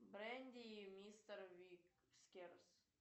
бренди и мистер вискерс